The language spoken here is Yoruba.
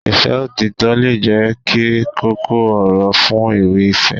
Ìfẹ́ òtítọ́ lè jẹ́ kókó ọ̀rọ̀ fún ewì ìfẹ́